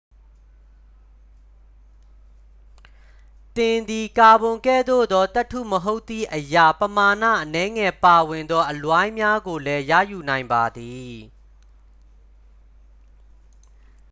သင်သည် ကာဗွန်ကဲ့သို့သော သတ္တုမဟုတ်သည့်အရာ ပမာဏအနည်းငယ်ပါဝင်သောအလွိုင်းများကိုလည်း ရယူနိုင်ပါသည်